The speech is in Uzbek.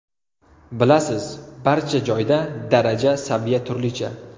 Bilasiz, barcha joyda daraja, saviya turlicha.